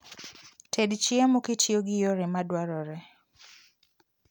Ted chiemo kitiyo gi yore madwarore